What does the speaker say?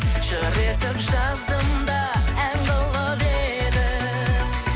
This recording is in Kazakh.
жыр етіп жаздым да ән қылып едім